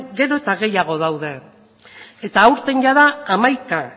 gero eta gehiago daude eta aurten jada hamaika